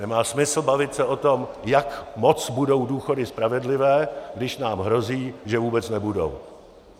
Nemá smysl bavit se o tom, jak moc budou důchody spravedlivé, když nám hrozí, že vůbec nebudou.